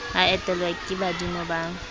a etelwe ke badimo ba